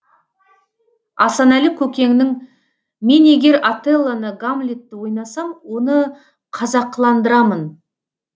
асанәлі көкеңнің мен егер отеллоны гамлетті ойнасам оны қазақыландырамын